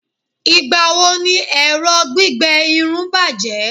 igbawo ni ẹrọ gbígbẹ Irun bajẹ